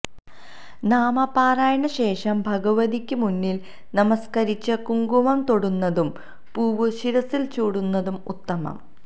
നാമപാരായണ ശേഷം ഭഗവതിക്ക് മുന്നിൽ നമസ്ക്കരിച്ച് കുങ്കുമം തൊടുന്നതും പൂവ് ശിരസ്സിൽ ചൂടുന്നതും ഉത്തമം